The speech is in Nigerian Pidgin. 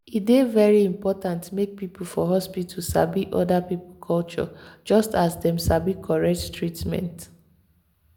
e dey very important make people for hospital sabi other people culture just as dem sabi correct treatment.